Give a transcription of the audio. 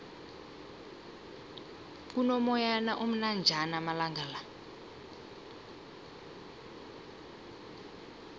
kuno moyana omnanjana amalangala